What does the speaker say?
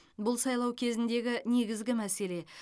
бұл сайлау кезіндегі негізгі мәселе